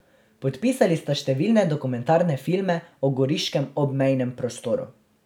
Podpisali sta številne dokumentarne filme o goriškem obmejnem prostoru.